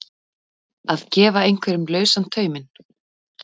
Að gefa einhverjum lausan tauminn